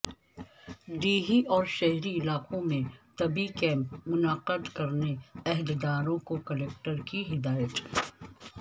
دیہی و شہری علاقوں میں طبی کیمپ منعقد کرنے عہدیداروں کو کلکٹر کی ہدایت